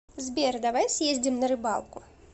сбер давай съездим на рыбалку